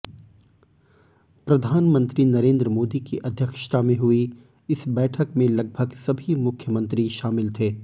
प्रधानमंत्री नरेंद्र मोदी की अध्यक्षता में हुई इस बैठक में लगभग सभी मुख्यमंत्री शामिल थे